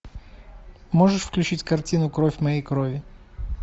можешь включить картину кровь моей крови